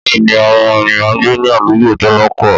Bẹ́ẹ̀ni, àwọn ènìyàn ń gbé ní àdúgbò tálákà